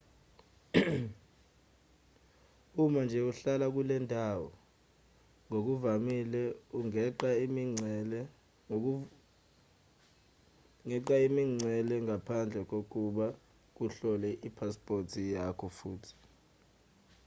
uma nje uhlala kulendawo ngokuvamile ungeqa imingcele ngaphandle kokuba kuhlolwe iphasiphothi yakho futhi